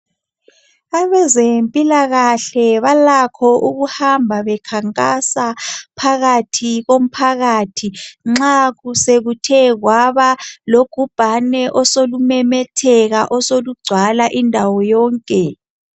Abezempilakahle balakho ukuhamba bekhankasa phakathi komphakathi nxa sekuthe kwaba logubhane osolumemetheka osolugcwala indawo yonke.